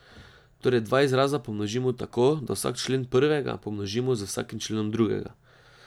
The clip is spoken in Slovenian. Torej dva izraza pomnožimo tako, da vsak člen prvega pomnožimo z vsakim členom drugega.